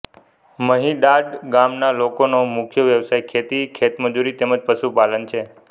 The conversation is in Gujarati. મહીડાદ ગામના લોકોનો મુખ્ય વ્યવસાય ખેતી ખેતમજૂરી તેમ જ પશુપાલન છે